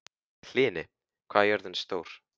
Hlini, hvað er jörðin stór?